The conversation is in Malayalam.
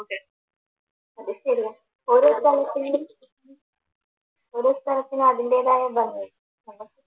ഓരോ സ്ഥലത്തിനും ഓരോ സ്ഥലത്തിനും അതിൻറെതായ ഭംഗി ഉണ്ട്